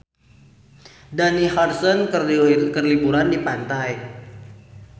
Dani Harrison keur liburan di pantai